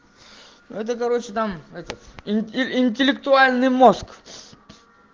это короче там это интеллектуальный мозг